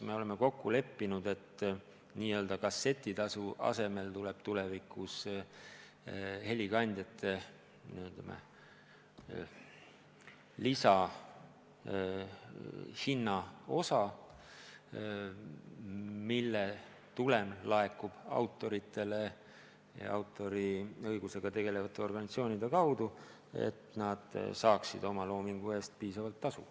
Me oleme kokku leppinud, et n-ö kassetitasu asemel tuleb tulevikus helikandjate lisahinnaosa, mille tulem laekub autoritele autoriõigusega tegelevate organisatsioonide kaudu ja nad saavad oma loomingu eest piisavalt tasu.